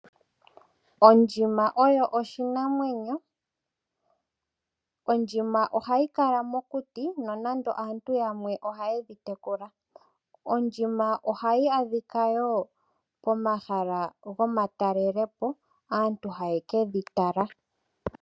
Ondjima oyo oshinamwenyo, ondjima ohayi kala mokuti nonando aantu yamwe ohayedi tekula. Ondjima ohayi adhika momahala gomatalelepo aantu haye kedhi tala.